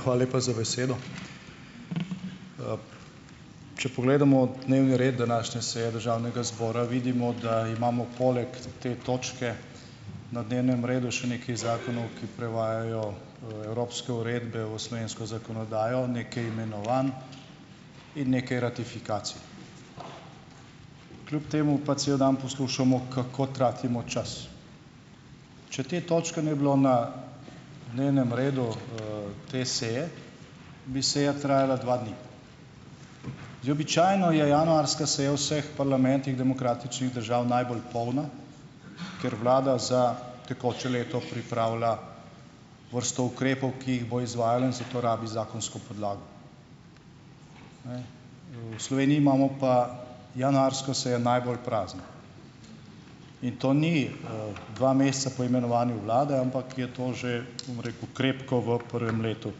hvala lepa za besedo. Če pogledamo dnevni red današnje seje državnega zbora, vidimo, da imamo poleg te točke na dnevnem redu še nekaj zakonov, ki prevajajo, evropske uredbe v slovensko zakonodajo, nekaj imenovanj in nekaj ratifikacij. Kljub temu pa cel dan poslušamo, kako tratimo čas. Če te točke ne bi bilo na dnevnem redu, te seje, bi seja trajala dva dni. Običajno je januarska seja vseh parlamentih demokratičnih držav najbolj polna, ker vlada za tekoče leto pripravlja vrsto ukrepov, ki jih bo izvajala in za to rabi zakonsko podlago. V Sloveniji imamo pa januarsko sejo najbolj prazno. In to ni, dva meseca po imenovanju vlade, ampak je to že, bom rekel, krepko v prvem letu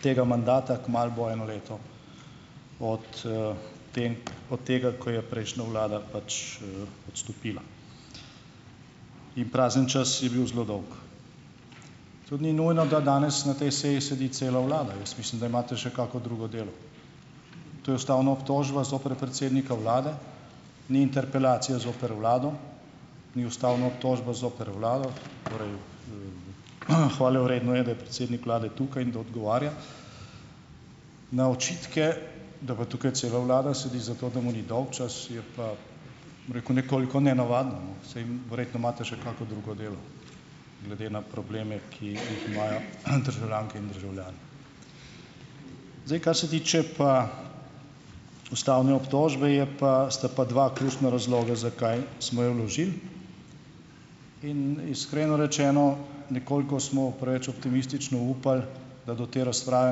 tega mandata, kmalu bo eno leto od, te od tega, ko je prejšnja vlada, odstopila. In prazen čas je bil zelo dolg. Tudi ni nujno, da danes na tej seji sedi cela vlada. Jaz mislim, da imate še kakšno drugo delo. To je ustavna obtožba zoper predsednika vlade, ni interpelacija zoper vlado, ni ustavna obtožba zoper vlado. Torej, hvalevredno je, da je predsednik vlade tukaj in da odgovarja na očitke. Da pa tukaj cela vlada sedi zato, da mu ni dolgčas je pa, bom rekel, nekoliko nenavadno, saj verjetno imate še kakšno drugo delo, glede na probleme, ki jih imajo, državljanke in državljani. Zdaj, kar se tiče pa ustavne obtožbe, je pa sta pa dva ključna razloga, zakaj smo jo vložili. In iskreno rečeno, nekoliko smo preveč optimistično upali, da do te razprave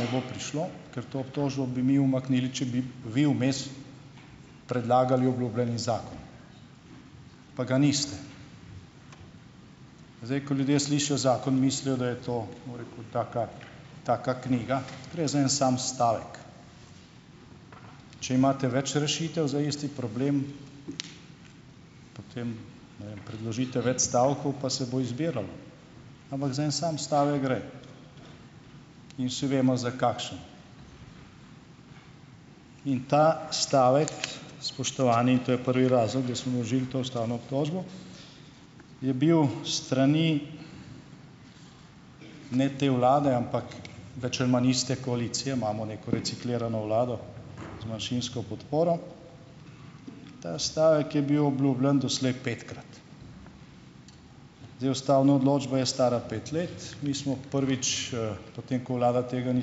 ne bo prišlo, ker to obtožbo bi mi umaknili, če bi vi vmes predlagali obljubljeni zakon, pa ga niste. Zdaj, ko ljudje slišijo zakon, mislijo, da je to, bom rekel, taka taka knjiga. Gre za en sam stavek. Če imate več rešitev za isti problem, potem, ne vem, predložite več stavkov, pa se bo izbiralo. Ampak za en sam stavek gre. In vsi vemo, za kakšen. In ta stavek, spoštovani, in to je prvi razlog, da smo vložili to ustavno obtožbo, je bil s strani, ne te vlade, ampak več ali manj iste koalicije, imamo neko reciklirano vlado, z manjšinsko podporo, ta stavek je bil obljubljen doslej petkrat. Zdaj, ustavna odločba je stara pet let. Mi smo prvič, po tem, ko vlada tega ni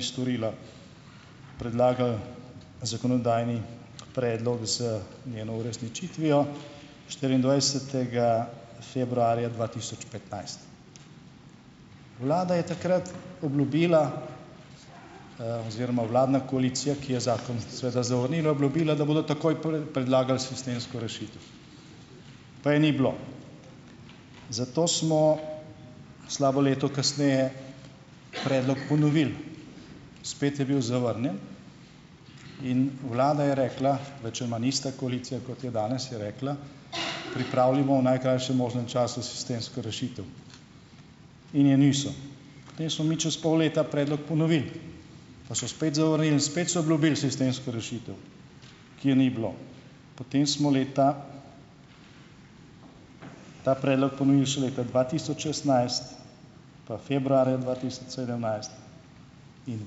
storila, predlagali zakonodajni predlog z njeno uresničitvijo štiriindvajsetega februarja dva tisoč petnajst. Vlada je takrat obljubila, oziroma vladna koalicija, ki je zakon seveda zavrnila, obljubila, da bodo takoj predlagali sistemsko rešitev. Pa je ni bilo. Zato smo slabo leto kasneje predlog ponovili - spet je bil zavrnjen in vlada je rekla, več ali manj ista koalicija, kot je danes, je rekla, pripravljamo v najkrajšem možnem času sistemsko rešitev. In je niso. Potem smo mi čas pol leta predlog ponovili, pa so spet zavrnili in spet so obljubili sistemsko rešitev, ki je ni bilo. Potem smo leta, ta predlog ponovili, so leta dva tisoč šestnajst, pa februarja dva tisoč sedemnajst, in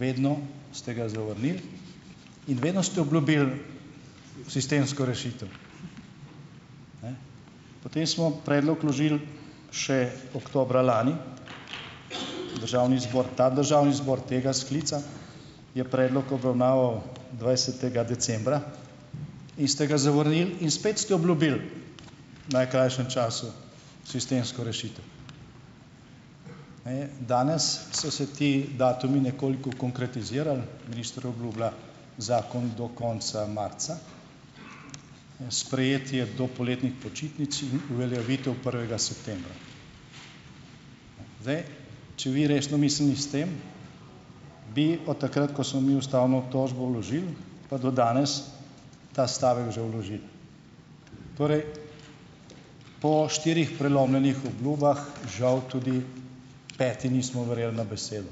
vedno ste ga zavrnili, in vedno ste obljubili sistemsko rešitev. Potem smo predlog vložili še oktobra lani. Državni zbor - ta državni zbor, tega sklica - je predlog obravnaval dvajsetega decembra in ste ga zavrnili in spet ste obljubili, najkrajšem času - sistemsko rešitev. danes so se ti datumi nekoliko konkretizirali. Minister obljublja zakon do konca marca, sprejetje do poletnih počitnic in uveljavitev prvega septembra. Zdaj, če bi vi resno mislili s tem, bi od takrat, ko smo mi ustavno obtožbo vložili, pa do danes ta stavek že vložili. Torej po štirih prelomljenih obljubah žal tudi peti nismo verjeli na besedo.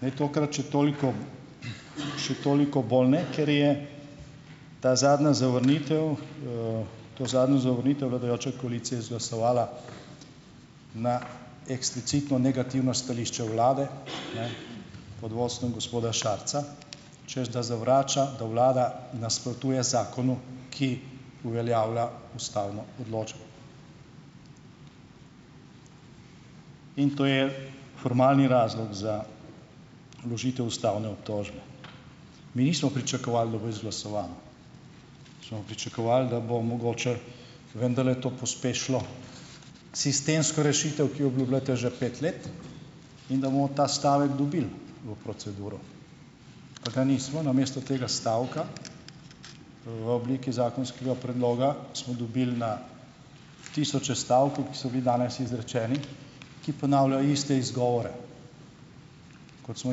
Ne, tokrat še toliko še toliko bolj ne, ker je ta zadnja zavrnitev, to zadnjo zavrnitev vladajoča koalicija izglasovala na eksplicitno negativno stališče vlade, pod vodstvom gospoda Šarca, češ da zavrača, da vlada nasprotuje zakonu, ki uveljavlja ustavno odločbo. In to je formalni razlog za vložitev ustavne obtožbe. Mi nismo pričakovali, da bo izglasovano. Smo pričakovali, da bo mogoče vendarle to pospešilo sistemsko rešitev, ki jo obljubljate že pet let in da bomo ta stavek dobili v proceduro. Pa ga nismo. Namesto tega stavka, v obliki zakonskega predloga, smo dobili na tisoče stavkov, ki so bili danes izrečeni, ki ponavljajo iste izgovore, kot smo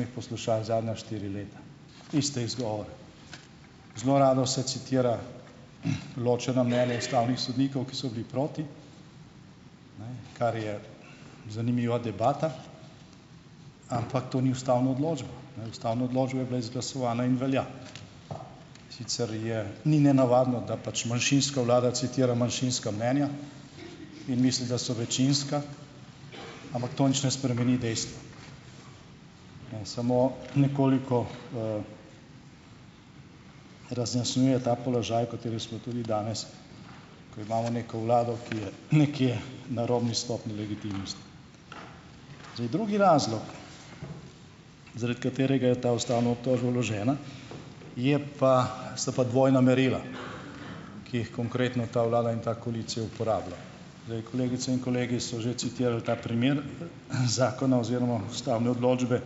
jih poslušali zadnja štiri leta. Iste izgovore. Zelo rado se citira ločena mnenja ustavnih sodnikov, ki so bili proti, kar je zanimiva debata, ampak to ni ustavna odločba. Ustavna odločba je bila izglasovana in velja. Sicer je ni nenavadno, da pač manjšinska vlada citira manjšinska mnenja, in mislim, da so večinska, ampak to nič ne spremeni dejstva, samo nekoliko, razjasnjuje ta položaj, o katerem smo tudi danes, ko imamo neko vlado, ki je nekje na robni stopnji legitimnosti. Zdaj drugi razlog, zaradi katerega je ta ustavna obtožba vložena, je pa, so pa dvojna merila, ki jih konkretno ta vlada in ta koalicija uporablja. Zdaj, kolegice in kolegi so že citirali ta primer zakona oziroma ustavne odločbe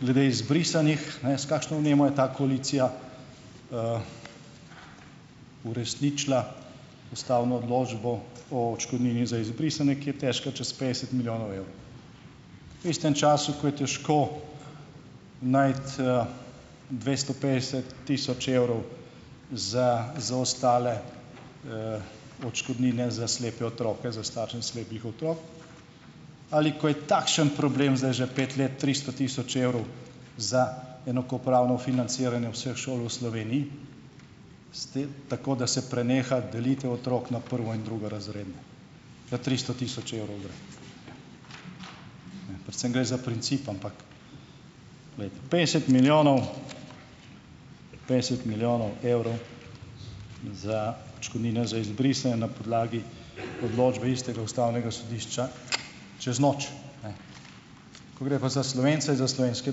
glede izbrisanih, S kakšno vnemo je ta koalicija uresničila ustavno odločbo o odškodnini za izbrisane, ki je težka čez petdeset milijonov evrov. V istem času, ko je težko najti, dvesto petdeset tisoč evrov za za ostale, odškodnine, za slepe otroke, za starše slepih otrok, ali ko je takšen problem, zdaj že pet let, tristo tisoč evrov za enakopravno financiranje vseh šol v Sloveniji, tako da se preneha delitev otrok na prvo- in drugorazredne. Kar tristo tisoč evrov gre. Pa s tem gre za princip, ampak glejte, petdeset milijonov, petdeset milijonov evrov za odškodnine za izbrise na podlagi odločbe istega ustavnega sodišča, čez noč, Ko gre pa za Slovence, za slovenske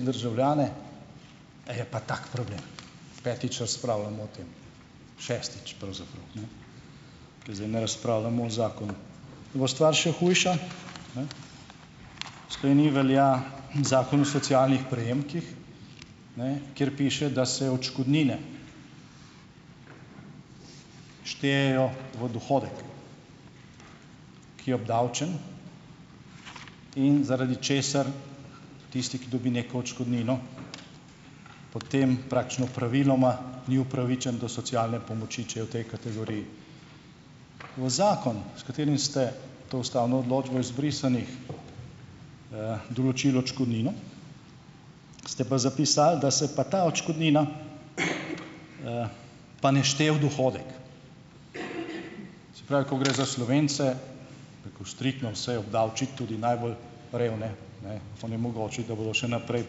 državljane, je pa tak problem, petič razpravljamo o tem. Šestič, pravzaprav, ker zdaj ne razpravljamo o zakonu. In bo stvar še hujša, V Sloveniji velja zakon o socialnih prejemkih, kjer piše, da se odškodnine štejejo v dohodek, ki je obdavčen, in zaradi česar tisti, ki dobi neko odškodnino, potem praktično praviloma ni upravičen do socialne pomoči, če je v tej kategoriji. V zakon, s katerim ste to ustavno odločbo o izbrisanih, določili odškodnino, ste pa zapisali, da se pa ta odškodnina pa ne šteje v dohodek. Se pravi, ko gre za Slovence, bi rekel, striktno vse obdavčiti, tudi najbolj revne, onemogočiti, da bodo še naprej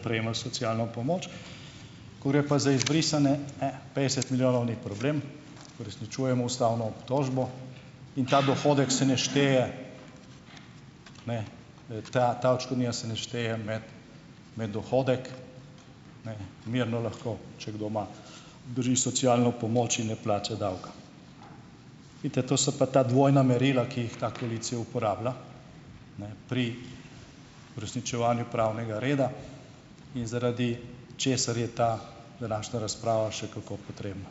prejemali socialno pomoč, ko gre pa za izbrisane, petdeset milijonov ni problem, uresničujemo ustavno obtožbo in ta dohodek se ne šteje, ta, ta odškodnina se ne šteje med, med dohodek, mirno lahko, če kdo ima, drži socialno pomoč in ne plača davka. Vidite, to so pa ta dvojna merila, ki jih ta koalicija uporablja, pri uresničevanju pravnega reda in zaradi česar je ta današnja razprava še kako potrebna.